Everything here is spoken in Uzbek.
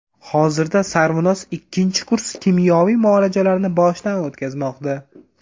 Hozirda Sarvinoz ikkinchi kurs kimyoviy muolajalarni boshdan o‘tkazmoqda.